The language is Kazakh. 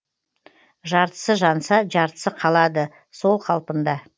жартысы жанса жартысы қалады сол қалпында